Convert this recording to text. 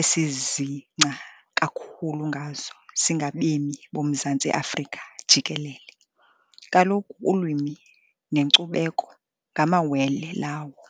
esizingca kakhulu ngazo singabemi boMzantsi Afrika jikelele, kaloku ulwimi nekcubekho ngamawele lawo.